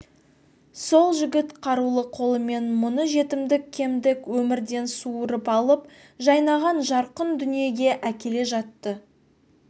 сол жігіт қарулы қолымен мұны жетімдік кемдік өмірден суырып алып жайнаған жарқын дүниеге әкеле жатты